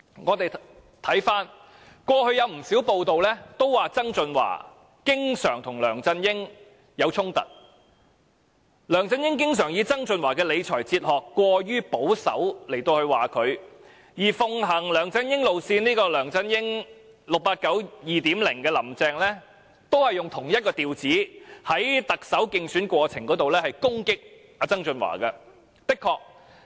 過去曾有不少報道指曾俊華經常與梁振英發生衝突，梁振英經常指責曾俊華的理財哲學過於保守，而奉行梁振英路線的 "689"2.0 亦即"林鄭"，亦以同一調子在特首競選過程中攻擊曾俊華。